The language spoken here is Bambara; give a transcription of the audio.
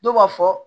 Dɔw b'a fɔ